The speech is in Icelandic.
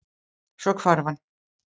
Svo hvarf hann.